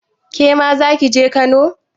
Kema zaki je Kano?